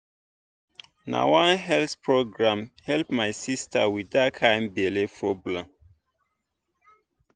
na one health program help my sister with that kind belly problem.